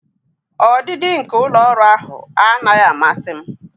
Ọdịdị nke ụlọ ọrụ ahụ anaghị amasị m.